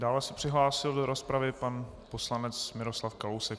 Dále se přihlásil do rozpravy pan poslanec Miroslav Kalousek.